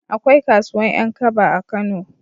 Akwai kasuwan 'yan kaba a kano